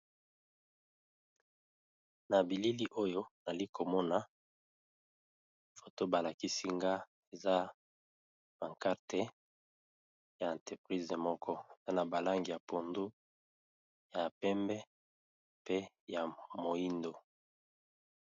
Na bilili oyo toalikomona photo balakisi nga eza pancarte ya entreprise moko, eza na balangi ya pondu ,ya pembe ,pe ya moindo.